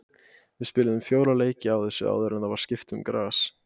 Við spiluðum fjóra leiki á þessu áður en það var skipt um gras.